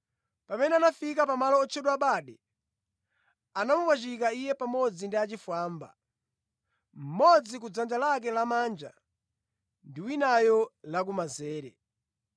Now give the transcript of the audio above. Pamene anafika pamalo otchedwa Bade, anamupachika Iye pamodzi ndi achifwambawo, mmodzi kudzanja lake lamanja ndi winayo la ku lamazere.